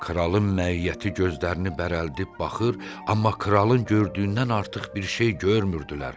Kralın məiyyəti gözlərini bərəldib baxır, amma kralın gördüyündən artıq bir şey görmürdülər.